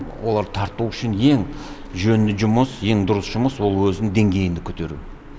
оларды тарту үшін ең жөнді жұмыс ең дұрыс жұмыс ол өзіңнің деңгейіңді көтеру